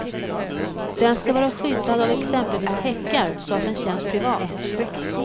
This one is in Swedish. Den ska vara skyddad av exempelvis häckar så att den känns privat.